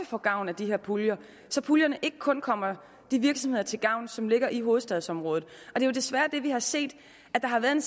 få gavn af de her puljer så puljerne ikke kun kommer de virksomheder til gavn som ligger i hovedstadsområdet det er jo desværre det vi har set der har været